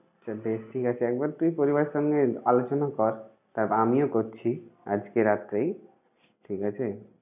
আচ্ছা বেশ! ঠিক আছে। একবার তুই পরিবারের সঙ্গে আলোচনা কর। তারপর আমিও করছি আজকে রাত্রেই। ঠিক আছে?